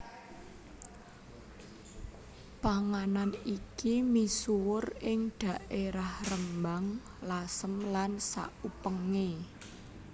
Panganan iki misuwur ing dhaerah Rembang Lasem lan sakupenge